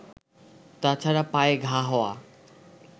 তাছাড়া পায়ে ঘা হওয়া